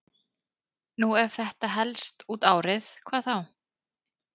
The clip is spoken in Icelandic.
Nú ef þetta helst út árið, hvað þá?